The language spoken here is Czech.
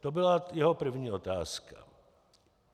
To byla jeho první otázka.